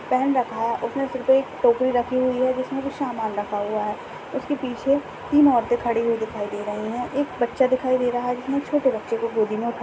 पहन रखा उसके सिर पर टोपी रखी हुई हैं जिसमें भी सामान रखा हुआ हैं उसके पीछे तीन औरतें खड़ी हुई दिखाई दे रही हैं एक बच्चा दिखाई दे रहा हैं। जिसने छोटे बच्चों को गोदी में उठाया--